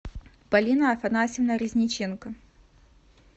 полина афанасьевна резниченко